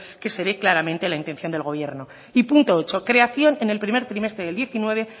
que se ve claramente la intención del gobierno y punto ocho creación en el primer trimestre del diecinueve